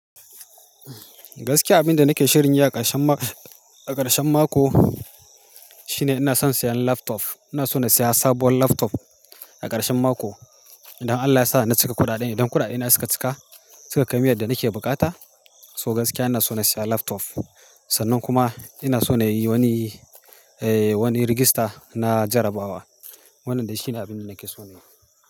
Gaskiya abin da nake shirin yi a ƙarshen ma-- a ƙarshen mako shine ina son siyan laptop. Ina so na saya sabuwar laptop a ƙarshen mako. Idan Allah ya sa na cika kuɗaɗen, idan kuɗaɗina suka cika, suka kai min yadda nake bukata, so gaskiya ina so na saya laptop. Sannan kuma ina so na yi wani, eh, wani rigista na jarabawa. Wannan dai shine abin da nake so na yi.